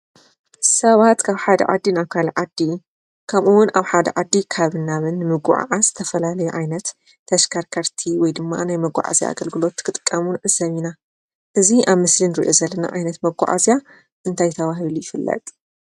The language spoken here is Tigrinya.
ሰባት ካብ ሓደ ዓዲ ናብ ካልእ ዓዲ ከምኡ እውን ኣብ ሓደ ዓዲ ናብን ካብን ሙጓዓዓዝ ዝተፈላላየ ዓይነት ተሽከርከርቲ ውይ ድማ ናይ መጓዓዝያ ኣግልግሎት ክጥቀሙ ንዕዘብ ኢና። እዚ ኣብ ምስሊ ንርኦ ዘለና ዓይነት መጓዓዝያ እንታይ ተበሂሉ ይፍለጥ?